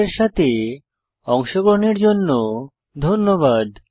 আমাদের সাথে অংশগ্রহণের জন্য ধন্যবাদ